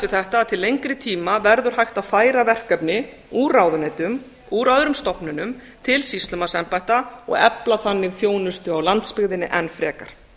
þetta að til lengri tíma verður hægt að færa verkefni úr ráðuneytum úr öðrum stofnunum til sýslumannsembætta og efla þannig þjónustu á landsbyggðinni enn frekar